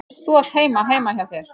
Þú átt heima heima hjá þér!